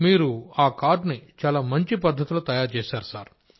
మీరు ఈ కార్డ్ని చాలా మంచి పద్ధతిలో తయారు చేశారు